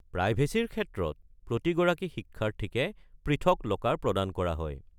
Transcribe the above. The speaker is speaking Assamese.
প্ৰাইভেচীৰ ক্ষেত্ৰত প্ৰতিগৰাকী শিক্ষাৰ্থীকে পৃথক ল'কাৰ প্ৰদান কৰা হয়।